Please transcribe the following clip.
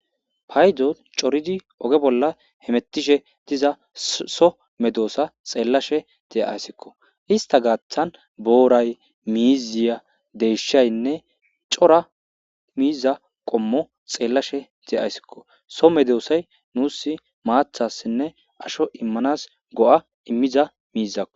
paydo coridi oge bolla hemettishe diza so medoosa xeellashe de7ayssikko ista gaaththan booray miiziya deyshaynne cora miiza qommo xeellashe deayssikko so medoosay nuus maathassinne asho immanas go7a immiza miizako